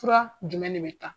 Fura jumɛn de bɛ ta